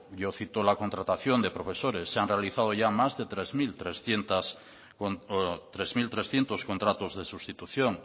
yo cito la contratación de profesores se han realizado ya más de tres mil trescientos contratos de sustitución